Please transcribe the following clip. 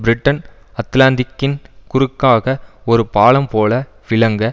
Britain அத்லாந்திக்கின் குறுக்காக ஒரு பாலம் போல விளங்க